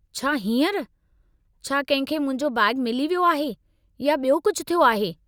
छा हींअरु? छा कंहिं खे मुंहिंजो बैग मिली वियो आहे या बि॒यो कुझु थियो आहे?